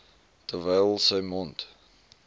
terwyl sy mond